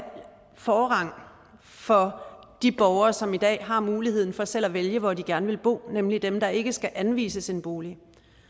forrang for de borgere som i dag har muligheden for selv at vælge hvor de gerne vil bo nemlig dem der ikke skal anvises en bolig